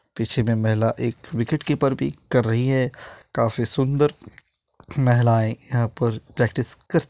पीछे में महिला एक विकेट कीपर भी कर रही है काफी सुंदर महिलाएं यहाँ पर प्रैक्टिस कर --